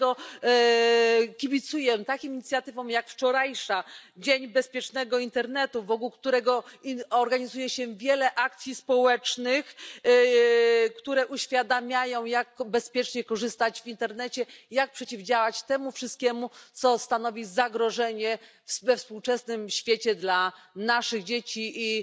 Dlatego kibicuję takim inicjatywom jak wczorajsza Dzień Bezpiecznego Internetu, wokół którego organizuje się wiele akcji społecznych, które uświadamiają, jak bezpiecznie korzystać z internetu, jak przeciwdziałać temu wszystkiemu, co stanowi zagrożenie we współczesnym świecie dla naszych dzieci. I